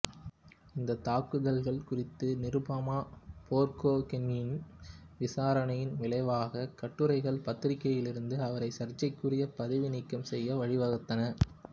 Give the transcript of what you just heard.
இந்த தாக்குதல்கள் குறித்து நிருபமா போர்கோகெய்னின் விசாரணையின் விளைவாகக் கட்டுரைகள் பத்திரிகையிலிருந்து அவரை சர்ச்சைக்குரிய பதவி நீக்கம் செய்ய வழிவகுத்தன